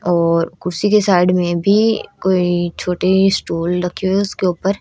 और कुर्सी के साइड में भी कोई छोटे स्टूल रखे हुए उसके ऊपर--